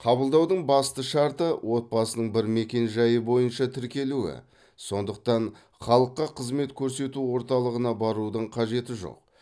қабылдаудың басты шарты отбасының бір мекенжайы бойынша тіркелуі сондықтан халыққа қызмет көрсету орталығынаа барудың қажеті жоқ